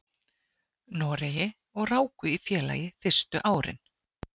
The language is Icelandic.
Noregi og ráku í félagi fyrstu árin.